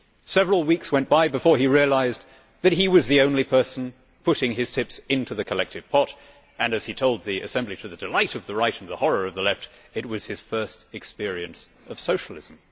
Several weeks went by before he realised that he was the only person putting his tips into the collective pot and, as he told the Assembly to the delight of the right and the horror of the left, it was his first experience of socialism.